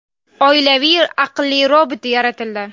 Oilaviy aqlli robot yaratildi.